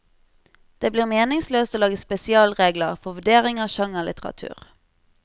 Det blir meningsløst å lage spesialregler for vurdering av sjangerlitteratur.